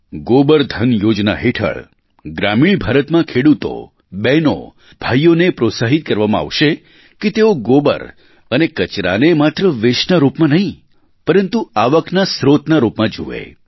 ગોબર ધન યોજના હેઠળ ગ્રામીણ ભારતમાં ખેડૂતો બહેનો ભાઈઓને પ્રોત્સાહિત કરવામાં આવશે કે તેઓ ગોબર અને કચરાને માત્ર wasteના રૂપમાં નહીં પરંતુ આવકના સ્રોતના રૂપમાં જુએ